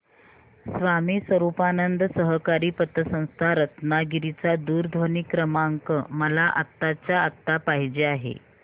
स्वामी स्वरूपानंद सहकारी पतसंस्था रत्नागिरी चा दूरध्वनी क्रमांक मला आत्ताच्या आता पाहिजे आहे